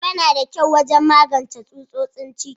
Ayaba na da kyau wajen magance tsutsotsin ciki.